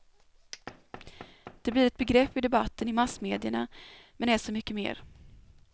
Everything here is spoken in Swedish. Det blir ett begrepp i debatten i massmedierna men är så mycket mer.